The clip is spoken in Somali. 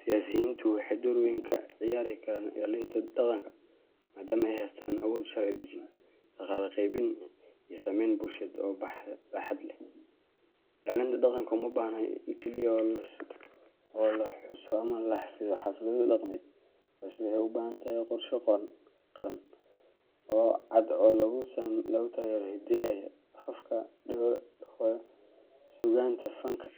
Siyaasiyiintu waxay door weyn ka ciyaari karaan ilaalinta dhaqanka, maadaama ay haystaan awood sharci-dejin, dhaqaale-qaybin, iyo saameyn bulsheed oo baaxad leh. Ilaalinta dhaqanka uma baahna oo keliya in la xuso ama la xafido xaflado dhaqameed, balse waxay u baahan tahay qorshe qaran oo cad oo lagu taageerayo hiddaha, afafka hooyo, suugaanta, fanka,